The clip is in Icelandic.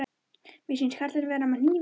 Mér sýnist karlinn vera með hníf í beltinu.